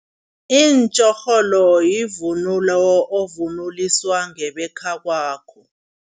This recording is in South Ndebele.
Iitjorholo yivunulo ovunuliswa ngebekhakwakho.